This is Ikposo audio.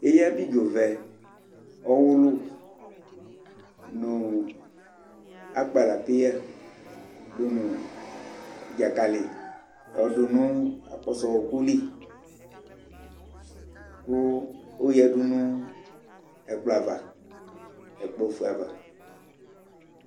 ɛya abidzɔ vɛ, ɔwʋlʋ nʋ akpala paya dʋnʋ dzakali yɔdʋnʋ akpɔsɔ ɔkʋli kʋ ɔyadʋnʋ ɛkplɔ aɣa, ɛkplɔ ɔƒʋɛ aɣa